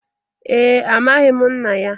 Ee, Amaghị m nna ya